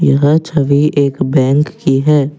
यह छवि एक बैंक की है।